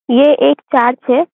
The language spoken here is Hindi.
ये एक चार्च है ।